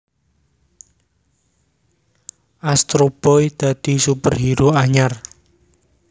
Astro Boy dadi superhero anyar